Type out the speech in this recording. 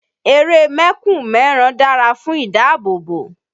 Eré mẹ́kùn mẹ́ran dàra fún ìdáàbòbò